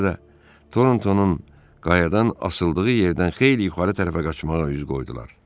Ona görə də Tortonun qayadan asıldığı yerdən xeyli yuxarı tərəfə qaçmağa üz qoydular.